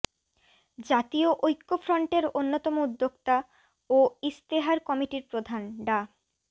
জাতীয় ঐক্যফ্রন্টের অন্যতম উদ্যোক্তা ও ইশতেহার কমিটির প্রধান ডা